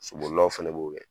Sobolilaw fɛnɛ b'o kɛ.